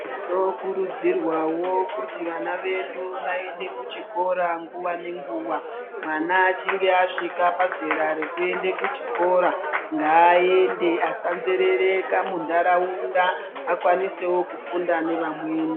Tinokurudzirwawo kuti vana vedu vaende kuchikora nguva nenguva mwana achinge asvika pazera rekuende kuchikora ngaaende asanzerereka munharaunda akwanisewo kufunda nevamweni.